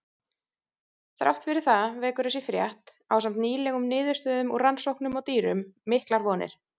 Þrátt fyrir það vekur þessi frétt, ásamt nýlegum niðurstöðum úr rannsóknum á dýrum, miklar vonir.